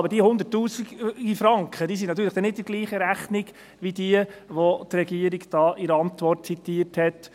Aber die Hunderttausenden von Franken sind natürlich dann nicht in derselben Rechnung wie diejenigen, welche die Regierung in ihrer Antwort zitiert hat: